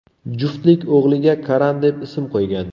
Juftlik o‘g‘liga Karan deb ism qo‘ygan.